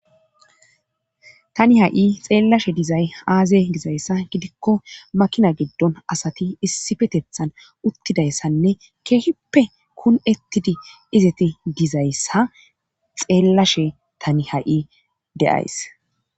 Tani ha7i xeellashe dizay aaze dizayssa gidikko makina giddon asati issifeteththan uttidayssanne keehippe kun7ettidi izeti dizayssa xeellashe tani ha7i de7ays.